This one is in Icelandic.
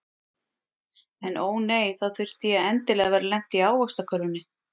En ó nei, þá þurfti ég endilega að vera lent í ávaxtakörfunni.